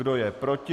Kdo je proti?